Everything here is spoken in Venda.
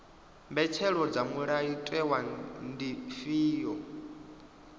mbetshelo dza mulayotewa ndi dzifhio